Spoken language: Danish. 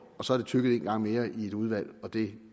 og så er det tygget en gang mere i et udvalg og det